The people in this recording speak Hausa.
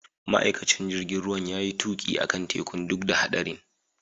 Ma'aikacin jirigin ruwan ya iya tuki akan tekun duk da haɗarin.